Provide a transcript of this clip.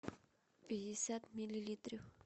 пятьдесят миллилитров